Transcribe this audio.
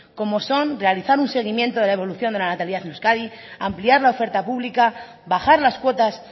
como son realizar un seguimiento de la evolución de la natalidad en euskadi ampliar la oferta pública bajar las cuotas